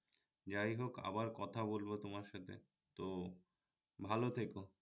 যাইহোক আবার কথা বলবো তোমার সাথে তো ভালো থেকো